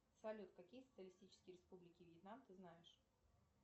салют какие социалистические республики вьетнам ты знаешь